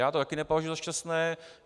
Já to také nepovažuji za šťastné.